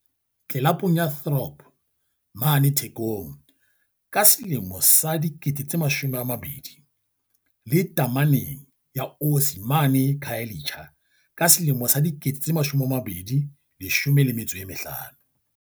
tlelapong ya Throb mane Thekong ka selemo sa 2000, le tameneng ya Osi mane Khayelitsha ka selemo sa 2015.